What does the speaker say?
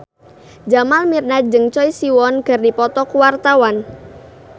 Jamal Mirdad jeung Choi Siwon keur dipoto ku wartawan